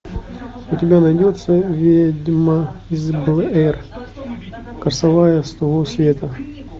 у тебя найдется ведьма из блэр курсовая с того света